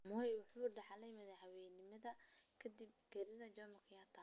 Moi waxa uu dhaxlay madaxweynanimada kadib geeridii Jomo Kenyatta.